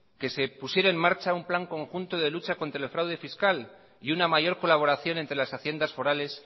que se pusiera en marcha un plan conjunto de lucha contra el fraude fiscal y una mayor colaboración entre las haciendas forales